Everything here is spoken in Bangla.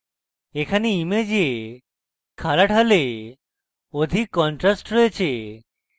এখানে image খাড়া ঢালে অধিক contrast রয়েছে